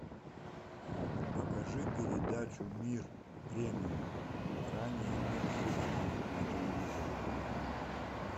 покажи передачу мир премиум ранее мир хеч ди на телевизоре